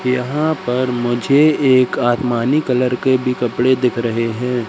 यहां पर मुझे एक आसमानी कलर के भी कपड़े दिख रहे हैं।